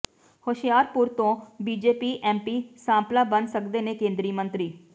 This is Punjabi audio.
ਹੁਸ਼ਿਆਰਪੁਰ ਤੋਂ ਬੀਜੇਪੀ ਐਮਪੀ ਸਾਂਪਲਾ ਬਣ ਸਕਦੇ ਨੇ ਕੇਂਦਰੀ ਮੰਤਰੀ